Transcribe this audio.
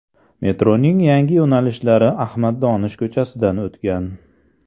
Metroning yangi yo‘nalishlari Ahmad Donish ko‘chasidan o‘tgan.